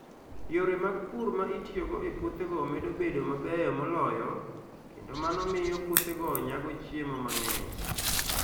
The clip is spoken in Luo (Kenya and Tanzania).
Yore mag pur ma itiyogo e puothego medo bedo mabeyo moloyo, kendo mano miyo puothego nyago chiemo mang'eny.